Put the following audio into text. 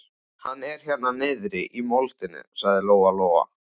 Hann er hérna niðri í moldinni, sagði Lóa-Lóa.